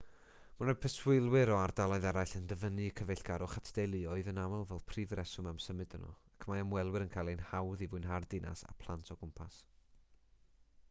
mae preswylwyr o ardaloedd eraill yn dyfynnu cyfeillgarwch at deuluoedd yn aml fel prif reswm am symud yno ac mae ymwelwyr yn ei chael hi'n hawdd i fwynhau'r ddinas â phlant o gwmpas